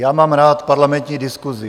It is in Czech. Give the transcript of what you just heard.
Já mám rád parlamentní diskusi.